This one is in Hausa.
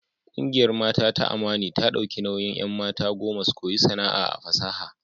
Kungiyar Mata ta Amani za ta dauki nauyin 'an. mata goma su koyi sana'a a fasaha.